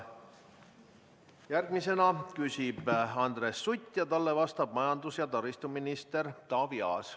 Järgmisena küsib Andres Sutt ja talle vastab majandus- ja taristuminister Taavi Aas.